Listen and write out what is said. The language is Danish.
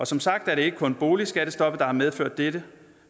som sagt er det ikke kun boligskattestoppet der har medført dette